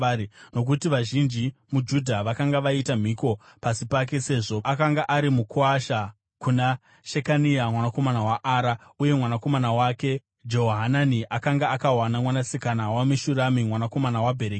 Nokuti vazhinji muJudha vakanga vaita mhiko pasi pake, sezvo akanga ari mukuwasha kuna Shekania mwanakomana waAra, uye mwanakomana wake Jehohanani akanga akawana mwanasikana waMeshurami mwanakomana waBherekia.